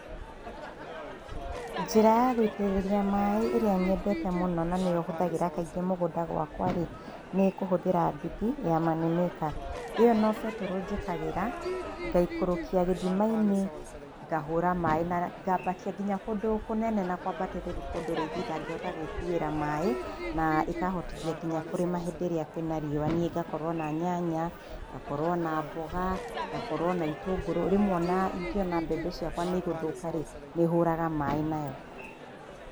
Njĩra ya gũitĩrĩria maĩ ĩria nyendete mũno na nĩyo hũthagĩra kaingĩ mũgũnda gwakwa-rĩ nĩ kũhũthĩra nduthĩ ya money maker. Ĩyo no betũrũ njĩkagĩra ngaikũrũkia gĩthimainĩ ngahũra maĩ na ngambatia ngĩnya kũndũ kũnene na kwabatĩrĩru kũndũ rĩngĩ ĩtangĩhota gwĩkuĩra maĩ na ĩkahotithia nginya kũrĩma hĩndĩ ĩrĩa kwina riũa nĩĩ ngakorwo na nyanya, ngakorwo na mboga, ngakorwo na ĩtũngũrũ. Rĩmwe ona ĩngĩũna mbembe cĩakwa nĩĩgũthoka-rĩ nĩhũraga maĩ nayo.